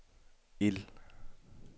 ild